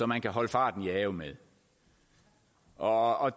man kan holde farten i ave med og